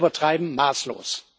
Und wir übertreiben maßlos.